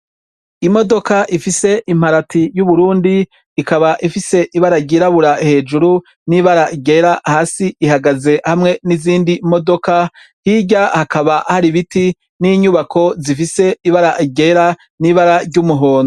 Imodoka ifise imparati y'Uburundi ikaba ifise ibara ryirabura hejuru n'ibara ryera hasi ihagaze hamwe n' izindi imodoka hirya hakaba hari ibiti n' inyubako zifise ibara ryera n' ibara ry' umuhondo.